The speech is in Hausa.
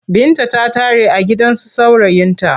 Binta ta tare a gidansu saurayinta.